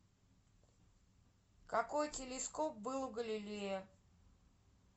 какой телескоп был у галилея